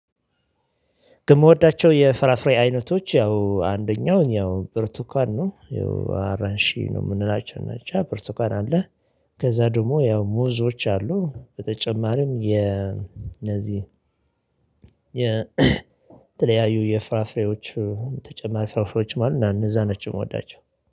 ግን የምወዳቸው የፍራፍሬ አይነቶች ያው አንደኛውን ያው ብርቱካን ነው ያው አረንሺ ነው የምንላቸው ናቸው በርቱካን አለ፤ ከዛ ደግሞ ያው ሙዞች አሉ በተጨማሪም የ እነዚህ የ የተለያዩ የፍራፍሬዎቹ ተጨማሪ ፍራፍሬዎችም አሉ እና እነዛ ናቸው የምወዳቸው።